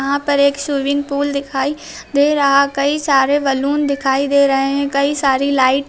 यहां पर एक स्विमिंग पूल दिखाई दे रहा कई सारे बलून दिखाई दे रहे है कई सारी लाइट --